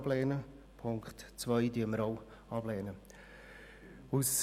Auch die Ziffer 2 lehnen wir ab.